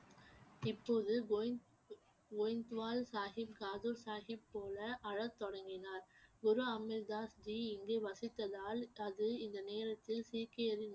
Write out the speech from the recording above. இப்போது கோயிந்~ கோயிந்த்வால் சாஹிப் காதூர் சாஹிப் போல அழத் தொடங்கினார் குரு அமிர்தாஸ் ஜி இங்கு வசித்ததால் அது இந்த நேரத்தில் சீக்கியரின்